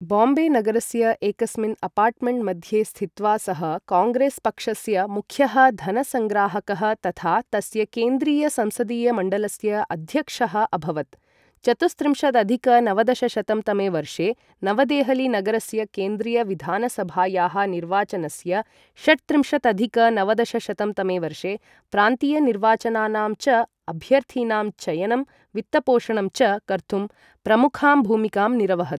बाम्बे नगरस्य एकस्मिन् अपार्टमेण्ट् मध्ये स्थित्वा सः काङ्ग्रेस् पक्षस्य मुख्यः धनसङ्ग्राहकः तथा तस्य केन्द्रीय संसदीय मण्डलस्य अध्यक्षः अभवत्, चतुस्त्रिंशदधिक नवदशशतं तमे वर्षे नवदेहली नगरस्य केन्द्रीय विधानसभायाः निर्वाचनस्य, षट्त्रिंशदधिक नवदशशतं तमे वर्षे प्रान्तीय निर्वाचनानां च अभ्यर्थिनां चयनं वित्तपोषणं च कर्तुं प्रमुखां भूमिकां निरवहत्।